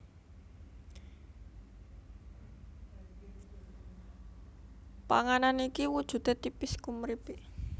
Panganan iki wujudé tipis kumripik